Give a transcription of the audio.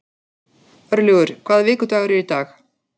Örlygur, hvaða vikudagur er í dag?